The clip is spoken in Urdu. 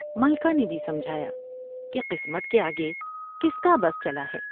ملکہ نے بھی سمجھایا کہ قسمت کے آگے کس کا بس چلا ہے ۔